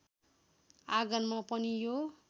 आँगनमा पनि यो